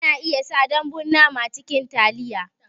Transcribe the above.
Ana iya sa dambun nama cikin taliya